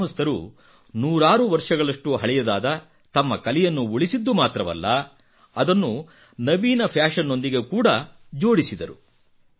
ಗ್ರಾಮಸ್ಥರು ನೂರಾರು ವರ್ಷಗಳಷ್ಟು ಹಳೆಯದಾದ ತಮ್ಮ ಕಲೆಯನ್ನು ಉಳಿಸಿದ್ದು ಮಾತ್ರವಲ್ಲ ಅದನ್ನು ನವೀನ ಫ್ಯಾಷನ್ ನೊಂದಿಗೆ ಕೂಡಾ ಜೋಡಿಸಿದರು